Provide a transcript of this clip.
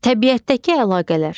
Təbiətdəki əlaqələr.